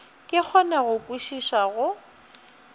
ke kgone go kwešiša go